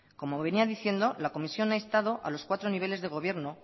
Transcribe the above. como venía diciendo la comisión a instado a los cuatro niveles de gobierno